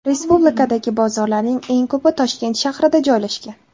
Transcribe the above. Respublikadagi bozorlarning eng ko‘pi Toshkent shahrida joylashgan.